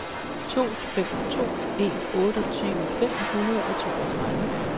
to fem to en otteogtyve fem hundrede og toogtredive